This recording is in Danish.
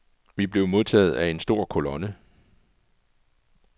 Vi blev modtaget af en stor kolonne.